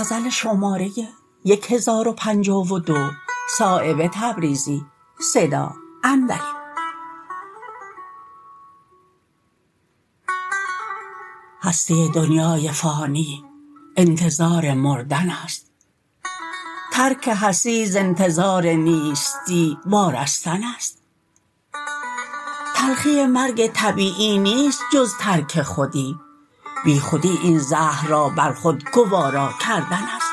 هستی دنیای فانی انتظار مردن است ترک هستی ز انتظار نیستی وارستن است تلخی مرگ طبیعی نیست جز ترک خودی بیخودی این زهر را بر خود گوارا کردن است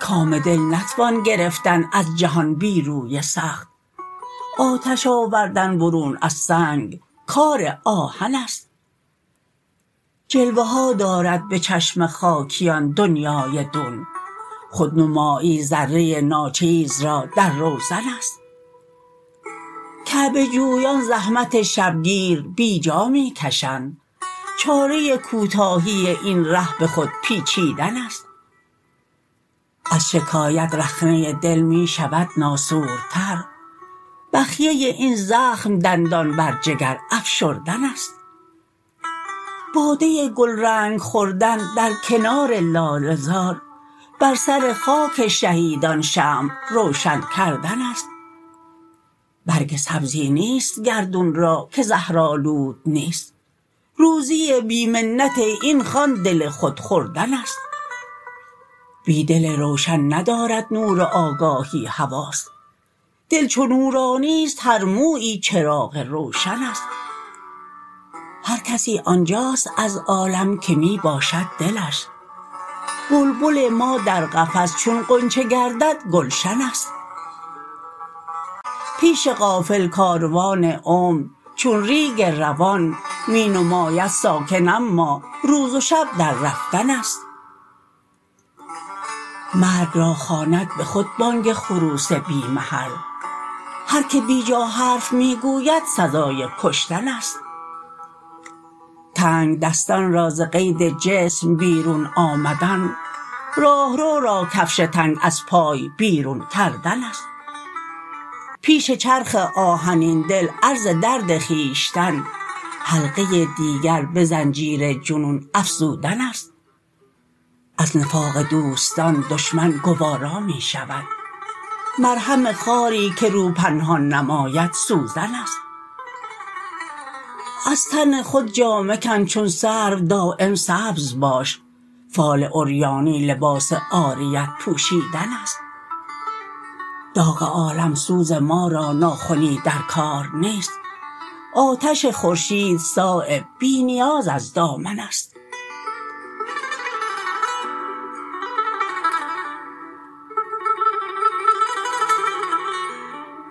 کام دل نتوان گرفتن از جهان بی روی سخت آتش آوردن برون از سنگ کار آهن است جلوه ها دارد به چشم خاکیان دنیای دون خودنمایی ذره ناچیز را در روزن است کعبه جویان زحمت شبگیر بیجا می کشند چاره کوتاهی این ره به خود پیچیدن است از شکایت رخنه دل می شود ناسورتر بخیه این زخم دندان بر جگر افشردن است باده گلرنگ خوردن در کنار لاله زار بر سر خاک شهیدان شمع روشن کردن است برگ سبزی نیست گردون را که زهرآلود نیست روزی بی منت این خوان دل خود خوردن است بی دل روشن ندارد نور آگاهی حواس دل چو نورانی است هر مویی چراغ روشن است هر کسی آنجاست از عالم که می باشد دلش بلبل ما در قفس چون غنچه گردد گلشن است پیش غافل کاروان عمر چون ریگ روان می نماید ساکن اما روز و شب در رفتن است مرگ را خواند به خود بانگ خروس بی محل هر که بیجا حرف می گوید سزای کشتن است تنگدستان را ز قید جسم بیرون آمدن راهرو را کفش تنگ از پای بیرون کردن است پیش چرخ آهنین دل عرض درد خویشتن حلقه دیگر به زنجیر جنون افزودن است از نفاق دوستان دشمن گوارا می شود مرهم خاری که رو پنهان نماید سوزن است از تن خود جامه کن چون سرو دایم سبز باش فال عریانی لباس عاریت پوشیدن است داغ عالمسوز ما را ناخنی در کار نیست آتش خورشید صایب بی نیاز از دامن است